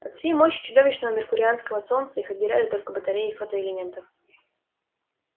от всей мощи чудовищного меркурианского солнца их отделяли только батареи фотоэлементов